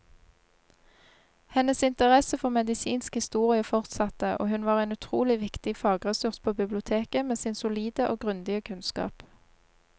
Hennes interesse for medisinsk historie fortsatte, og hun var en utrolig viktig fagressurs på biblioteket med sin solide og grundige kunnskap.